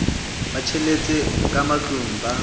ba tjheseletswa ka matlung ba